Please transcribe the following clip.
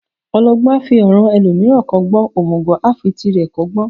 Ọlọgbọ́n a fi ọ̀ràn ẹlòmíràn kọ́gbọ́n, òmùgọ̀ a fi tirẹ̀ kọ́gbọ́n.